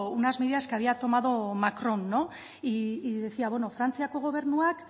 unas medidas que había tomado macron y decía frantziako gobernuak